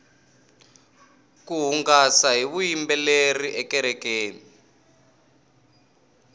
ku hungasa hi vuyimbeleri ekerekeni